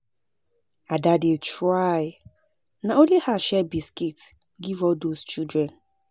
Ada dey try na only her share biscuit give all those children